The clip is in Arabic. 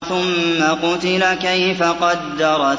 ثُمَّ قُتِلَ كَيْفَ قَدَّرَ